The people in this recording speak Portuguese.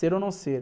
Ser ou não ser?